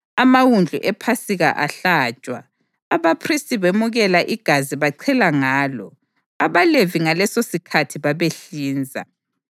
Amawundlu ePhasika ahlatshwa, abaphristi bemukela igazi bachela ngalo, abaLevi ngalesosikhathi babehlinza.